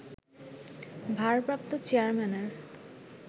ভারপ্রাপ্ত চেয়ারম্যানের